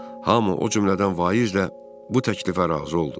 Hamı o cümlədən Vaiz də bu təklifə razı oldu.